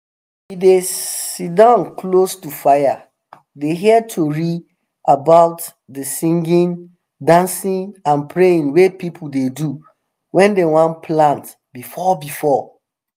we dey sitdon close to fire dey hear tori about dey singing dancing and praying wey people dey do wen dem wan plant before before